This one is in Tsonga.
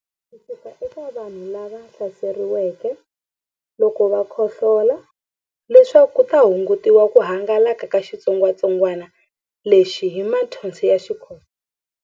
Ku suka eka vanhu lava hlaseriweke loko va khohlola leswaku ku hungutiwa ku hangalaka ka xitsongwantsongwana lexi hi mathonsi ya xikhohlola.